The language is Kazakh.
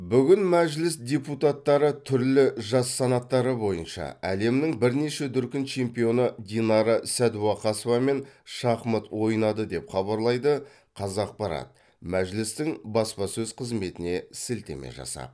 бүгін мәжіліс депутаттары түрлі жас санаттары бойынша әлемнің бірнеше дүркін чемпионы динара сәдуақасовамен шахмат ойнады деп хабарлайды қазақпарат мәжілістің баспасөз қызметіне сілтеме жасап